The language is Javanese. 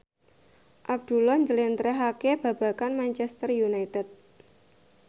Abdullah njlentrehake babagan Manchester united